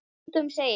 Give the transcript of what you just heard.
Skal engum segja.